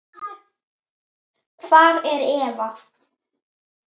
Hvar er Eva?